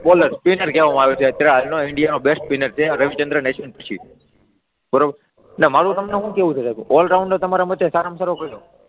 Spinner કહેવામા આવે છે, અત્યારે આજનો ઇન્ડિયાનો બેસ્ટ સ્પિનર છે રવિચંદ્રન અશ્વિન પછી બરાબર મારૂ તમને શું કહેવું છે સાહેબ ઓલ રાઉન્ડર તમારા માટે સારામાં સારો કયો?